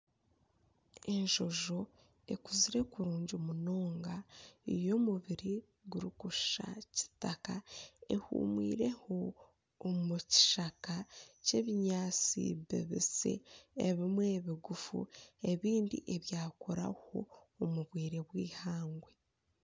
Enjojo ekuzire kurungi munonga eine omubiri gurikushusha kitaka ehuumwireho omu kishaka ky'ebinyaatsi bibisi ebimwe biguufu ebindi ebyakuraho omu bwire bw'eihangwe.